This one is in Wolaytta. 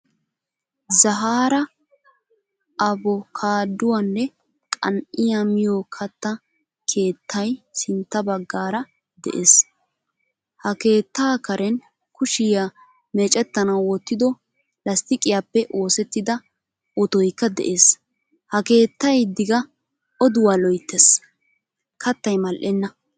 Zahara avokaaduwaanne qan'iyaa miyo katta keettay sintta baggaara de'ees. Ha keettaa karen kushiyaa meecettanawu wottido lastiqiyappe oosettida ottoykka de'ees. Ha keettay diga oduwa loyttees. Kattay mal'eena.